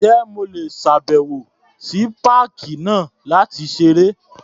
Ǹjẹ́ mo lè ṣàbẹ̀wò sí páàkì náà láti ṣeré?